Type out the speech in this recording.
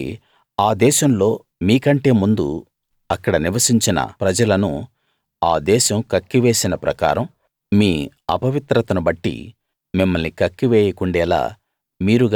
కాబట్టి ఆ దేశంలో మీకంటే ముందు అక్కడ నివసించిన ప్రజలను ఆ దేశం కక్కివేసిన ప్రకారం మీ అపవిత్రతను బట్టి మిమ్మల్ని కక్కి వేయకుండేలా